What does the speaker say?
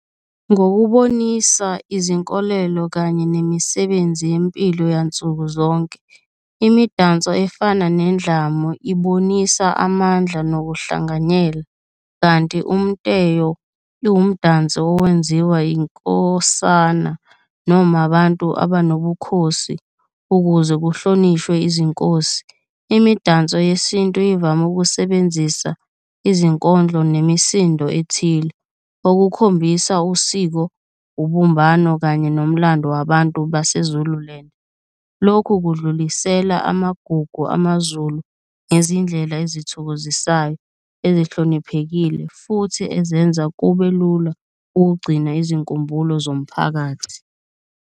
Ngokubonisa izinkolelo kanye nemisebenzi yempilo yansuku zonke imidanso efana nendlamu ibonisa amandla nokuhlanganyela, kanti umteyo iwumdanso owenziwa yinkosana noma abantu abanobukhosi, ukuze kuhlonishwe izinkosi. Imidanso yesintu ivame ukusebenzisa izinkondlo nemisindo ethile okukhombisa usiko, ubumbano kanye nomlando wabantu base-Zululand. Lokhu kudlulisela amagugu amaZulu ngezindlela ezithokozisayo, ezihloniphekile futhi ezenza kube lula ukugcina izinkumbulo zomphakathi.